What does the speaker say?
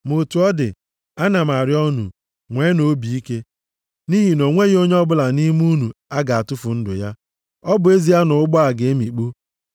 Ma otu ọ dị, ana m arịọ unu, nweenụ obi ike! Nʼihi na o nweghị onye ọbụla nʼime unu a ga-atụfu ndụ ya. Ọ bụ ezie na ụgbọ a ga-emikpu.